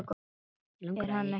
Er hann ekki níu ára?